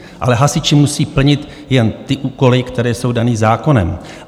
Ale hasiči musí plnit jen ty úkoly, které jsou dány zákonem.